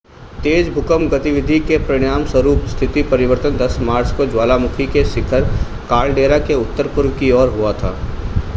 तेज़ भूकंप गतिविधि के परिणामस्वरूप स्थिति परिवर्तन 10 मार्च को ज्वालामुखी के शिखर कालडेरा के उत्तर-पूर्व की ओर हुआ था